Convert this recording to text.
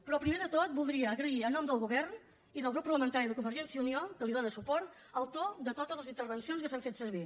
però primer de tot voldria agrair en nom del govern i del grup parlamentari de convergència i unió que li dóna suport el to de totes les intervencions que s’ha fet servir